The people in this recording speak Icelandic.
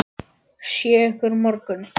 Sé ykkur á morgun.